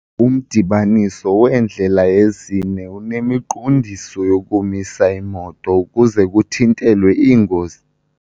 Umdibaniso weendlela ezine unemiqondiso yokumisa iimoto ukuze kuthintelwe iingozi.